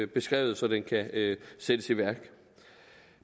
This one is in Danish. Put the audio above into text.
beskrevet så den kan sættes i værk